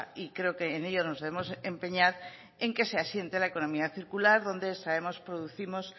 y creo que en ello nos debemos empeñar en que se asiente la economía circular donde extraemos producimos